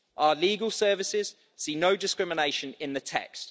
Our legal services see no discrimination in the text.